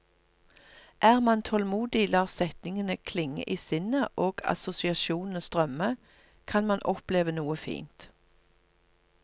Er man tålmodig, lar setningene klinge i sinnet og assosiasjonene strømme, kan man oppleve noe fint.